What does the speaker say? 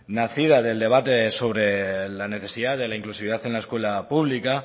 nacida del debate sobre la necesidad de la inclusividad en la escuela pública